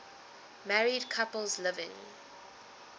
married couples living